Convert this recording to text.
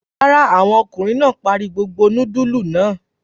Rárá, àwọn ọmọkùnrin náà parí gbogbo núdúlù náà.